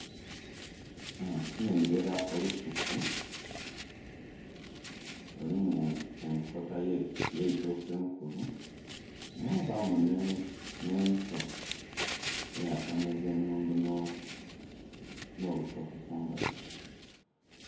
Aa.. nnhengera olusuku lulimu enkota yeitooke enkulu mwabamu nhe ento eya kameza ennundo no bitooke kumbali.